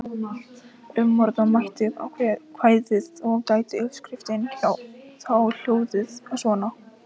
Umorða mætti kvæðið og gæti uppskriftin þá hljóðað svona: